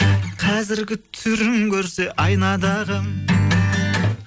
қазіргі түрін көрсе айнадағы